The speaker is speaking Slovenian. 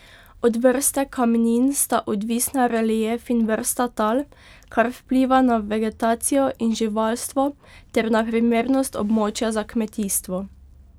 Od vrste kamnin sta odvisna relief in vrsta tal, kar vpliva ne vegetacijo in živalstvo ter na primernost območja za kmetijstvo.